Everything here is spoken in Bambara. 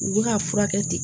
U bɛ ka furakɛ ten